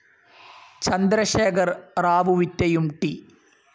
ചന്ദ്രശേഖർ റാവുവിറ്റയും ടി.